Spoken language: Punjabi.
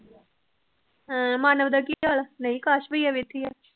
ਹਮ ਮਾਨਵ ਦਾ ਕੀ ਹਾਲ ਗਈ